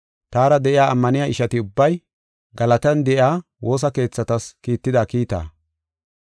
taara de7iya ammaniya ishati ubbay, Galatiyan de7iya woosa keethatas kiitida kiitaa.